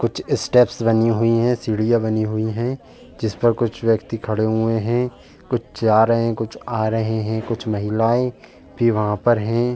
कुछ स्टेप्स बनी हुई हैं सीढ़ियां बनी हुई हैं। जिस पर कुछ व्यक्ति खड़े हुए हैं। कुछ जा रहे हैं कुछ आ रहे हैं। कुछ महिलाएं भी वहां पर हैं।